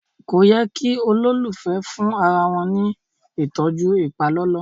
kọ yé kí ololufẹ fún arawọn ní ìtọjú ipalọlọ